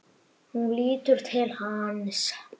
Hún lítur til hans.